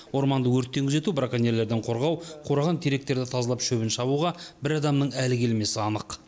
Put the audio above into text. орманды өрттен күзету браконьерлерден қорғау қураған теректерді тазалап шөбін шабуға бір адамның әлі келмесі анық